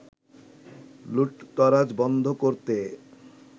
লুটতরাজ বন্ধ করতে